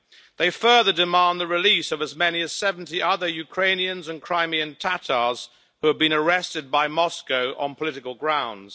They further demand the release of as many as 70 other Ukrainians and Crimean Tatars who have been arrested by Moscow on political grounds.